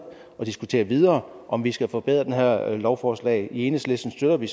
og diskutere videre om vi skal forbedre det her lovforslag i enhedslisten støtter vi